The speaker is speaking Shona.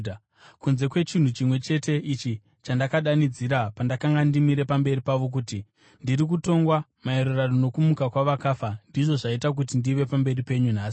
kunze kwechinhu chimwe chete ichi chandakadanidzira pandakanga ndimire pamberi pavo kuti, ‘Ndiri kutongwa maererano nokumuka kwavakafa; ndizvo zvaita kuti ndive pamberi penyu nhasi.’ ”